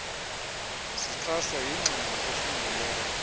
zixhaswa yingxelo efungelweyo